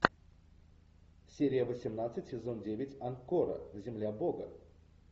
серия восемнадцать сезон девять анкора земля бога